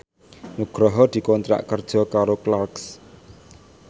Nugroho dikontrak kerja karo Clarks